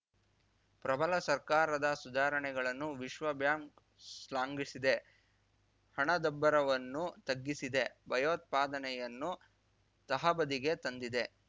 ಪ್ರಬಲ ಸರ್ಕಾರದ ಸುಧಾರಣೆಗಳನ್ನು ವಿಶ್ವ ಬ್ಯಾಂಕ್‌ ಶ್ಲಾಘಿಸಿದೆ ಹಣದುಬ್ಬರವನ್ನು ತಗ್ಗಿಸಿದೆ ಭಯೋತ್ಪಾದನೆಯನ್ನು ತಹಬದಿಗೆ ತಂದಿದೆ